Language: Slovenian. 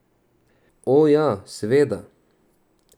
O, ja, seveda.